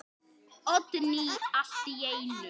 Oddný allt í einu.